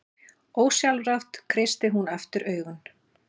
Ósjálfrátt kreistir hún aftur augun.